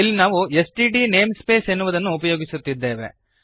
ಇಲ್ಲಿ ನಾವು STD namespace ಎನ್ನುವುದನ್ನು ಉಪಯೋಗಿಸುತ್ತಿದ್ದೇವೆ